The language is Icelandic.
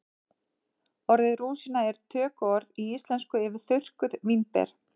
Orðið rúsína er tökuorð í íslensku yfir þurrkuð vínber.